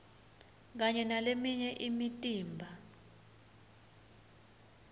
kanye naleminye imitimba